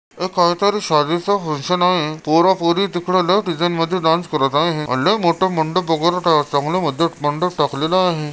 एक काहीतरी शादिच फंकशन आहे पोरा पोरी तिकड लय डांन्स करत आहे लय मोठ मंडप बघत आहे चांगल मधे मंडप टाकलेला आहे.